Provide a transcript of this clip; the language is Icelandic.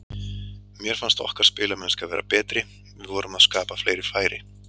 Mér fannst okkar spilamennska vera betri, við vorum að skapa fleiri færi.